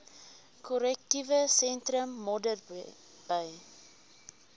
korrektiewe sentrum modderbee